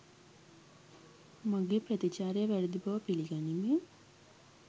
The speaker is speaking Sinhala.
මගේ ප්‍රතිචාරය වැරදි බව පිලිගනිමින්